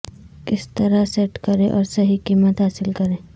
کس طرح سیٹ کریں اور صحیح قیمت حاصل کریں